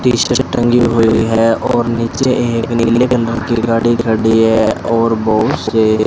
T shirt टंगी हुई है और नीचे एक नीले कलर गाड़ी है और बहुत से --